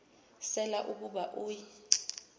sela ukuba uy